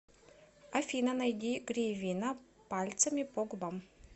афина найди гривина пальцами по губам